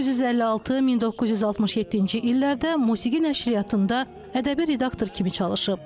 1956-1967-ci illərdə Musiqi Nəşriyyatında ədəbi redaktor kimi çalışıb.